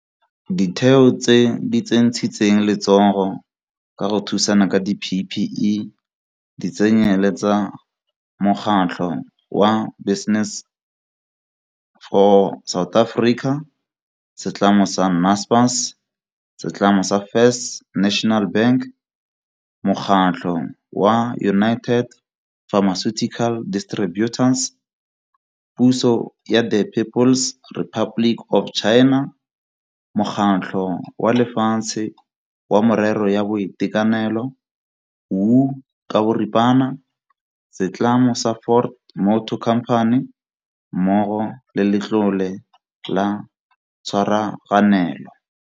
Ditheo tse di tsentshitseng letsogo ka go thusana ka di-PPE di tsenyele-tsa mokgatlho wa Business for South Africa, setlamo sa Naspers, setlamo sa First National Bank, mokgatlho wa United Pharmaceutical Distributors, puso ya the People s Republic of China, Mokgatlho wa Lefatshe wa Merero ya Boitekanelo WHO, setlamo sa Ford Motor Company mmogo le Letlole la Tshwaraganelo.